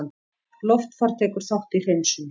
Loftfar tekur þátt í hreinsun